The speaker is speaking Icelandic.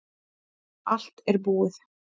Allt er búið